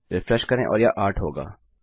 refresh करें और यह 8 होगा